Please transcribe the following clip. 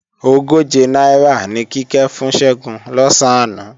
Ogóje náírà ni Kíkẹ́ fún Ṣẹ́gun lọ̀sán àná